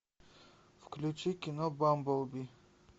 включи кино бамблби